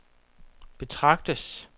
betragtes